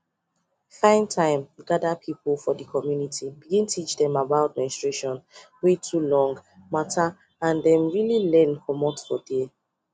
find time gather people for the community bin teach dem about menstruation wey too long matter and dem go really learn for there